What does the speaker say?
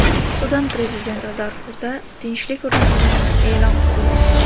Sudan prezidenti Darfurda tinchlik o‘rnatilganini e’lon qildi.